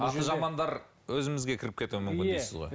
аты жамандар өзімізге кіріп кетуі мүмкін дейсіз ғой